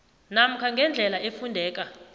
namkha ngendlela efundeka